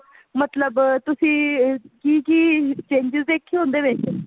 ਮਤਲਬ ਤੁਸੀਂ ਕੀ ਕੀ changes ਦੇਖੀ ਉਹਦੇ ਵਿੱਚ